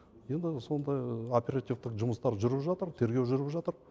енді сондай оперативтік жұмыстар жүріп жатыр тергеу жүріп жатыр